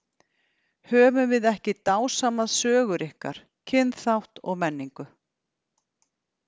Höfum við ekki dásamað sögur ykkar, kynþátt og menningu.